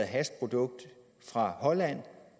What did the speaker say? hashprodukt fra holland